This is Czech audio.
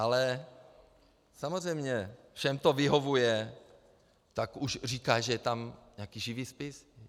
Ale samozřejmě, všem to vyhovuje, tak už říká, že je tam nějaký živý spis.